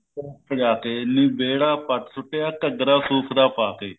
ਸਜ਼ਾ ਕੇ ਨੀ ਵਿਹੜਾ ਪੱਟ ਸੁੱਟਿਆ ਘੱਗਰਾ ਸੁਤ ਦਾ ਪਾ ਕੇ